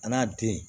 A n'a den